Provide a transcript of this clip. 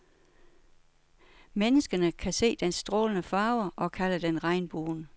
Menneskene kan se dens strålende farver og kalder den regnbuen.